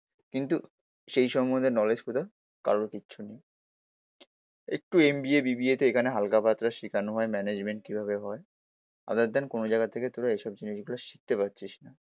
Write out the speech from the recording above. কিন্তু সেই সম্বন্ধে নলেজ তোদের কারোর কিচ্ছু নেই। একটু M B A, B B A তে এখানে হালকা পাতলা শেখানো হয় ম্যানেজমেন্ট কিভাবে হয় আদার দেন কোনো জায়গা থেকে তোরা এসব জিনিসগুলো শিখতে পারছিস না।